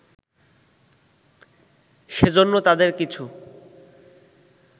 সেজন্য তাদের কিছু